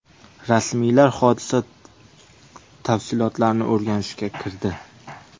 Rasmiylar hodisa tafsilotlarini o‘rganishga kirdi.